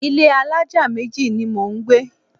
Ilé alájà méjì ni mò ń gbé.